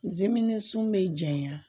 Zimɛni sun bɛ jaɲa